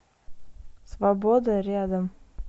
свобода рядом